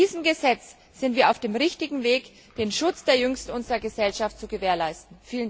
Mit diesem Gesetz sind wir auf dem richtigen Weg, den Schutz der Jüngsten unserer Gesellschaft zu gewährleisten.